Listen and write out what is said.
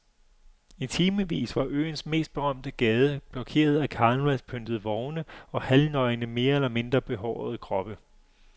I timevis var øens mest berømte gade blokeret af karnevalspyntede vogne og halvnøgne mere eller mindre behårede kroppe.